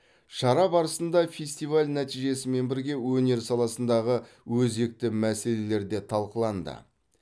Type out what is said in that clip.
шара барысында фестиваль нәтижесімен бірге өнер саласындағы өзекті мәселелер де талқыланды